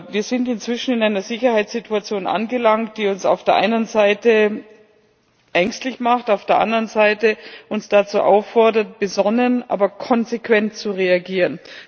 Wir sind inzwischen in einer Sicherheitssituation angelangt, die uns auf der einen Seite ängstlich macht und uns auf der anderen Seite dazu auffordert, besonnen, aber konsequent zu reagieren.